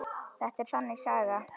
Þetta er þannig saga.